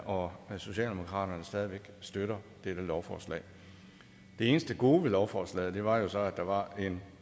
og socialdemokratiet stadig væk støtter dette lovforslag det eneste gode ved lovforslaget var jo så at der var en